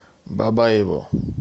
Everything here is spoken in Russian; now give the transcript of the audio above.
бабаево